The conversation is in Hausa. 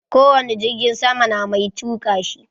Ko wani jirgin sama na mai tuka shi.